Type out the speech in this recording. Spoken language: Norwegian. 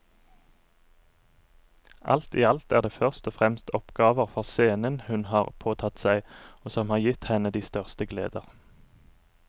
Alt i alt er det først og fremst oppgaver for scenen hun har påtatt seg og som har gitt henne de største gleder.